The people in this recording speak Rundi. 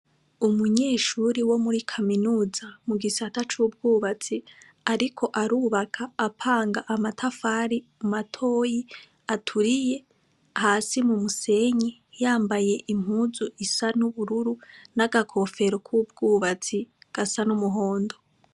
Umunyeshure wo muri kaminuza mu gisata c' ubwubats' ariko arubak' apang' amatafari matoy' aturiye hasi mu musenyi, yambay' impuz' isa n' ubururu, naga kofero kubw' ubatsi gasa n' umuhondo.